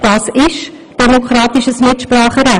Das ist demokratisches Mitspracherecht.